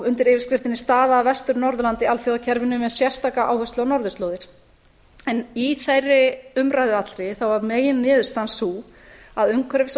undir yfirskriftinni staða vestur norðurlanda í alþjóðakerfinu með sérstakri áherslu á norðurslóðir í þeirri umræðu allri var meginniðurstaðan sú að umhverfis og